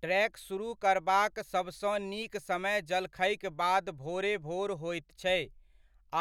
trek सुरुह करबाक सब सँ नीक समय जलखैक बाद भोरे भोर होइत छै,